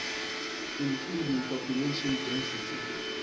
including population density